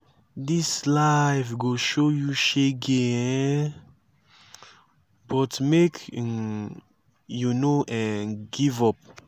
dis life go show you shege um but make um you no um give up.